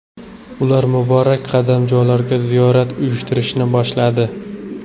Ular muborak qadamjolarga ziyorat uyushtirishni boshladi.